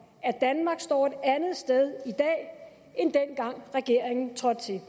at danmark står et andet sted i dag end dengang regeringen trådte til